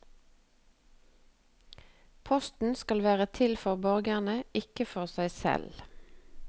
Posten skal være til for borgerne, ikke for seg selv.